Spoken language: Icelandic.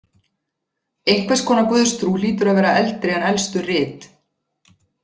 Einhvers konar guðstrú hlýtur að vera eldri en elstu rit.